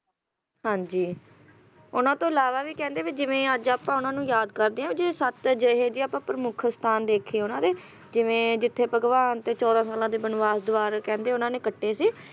ਹਾਂ ਜੀ, ਉਹਨਾਂ ਤੋਂ ਇਲਾਵਾ ਵੀ ਕਹਿੰਦੇ ਜਿਵੇਂ ਅੱਜ ਆਪਾਂ ਉਹਨਾਂ ਨੂੰ ਯਾਦ ਕਰਦੇ ਆ ਜੇ ਸੱਤ ਅਜਿਹੇ ਜੇ ਪ੍ਰਮੁੱਖ ਸਥਾਨ ਦੇਖੇ ਉਹਨਾਂ ਦੇ ਜਿਵੇਂ ਜਿੱਥੇ ਭਗਵਾਨ ਦੇ ਚੌਦਾਂ ਸਾਲਾਂ ਦੇ ਬਨਵਾਸ ਦੁਆਰਾ ਉਹਨਾਂ ਨੇ ਕੱਟੇ ਸੀ,